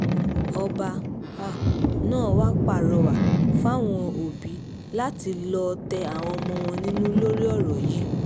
ọba um náà wàá pàrọwà fáwọn òbí láti lọ́ọ́ tẹ àwọn ọmọ wọn nínú lórí um ọ̀rọ̀ yìí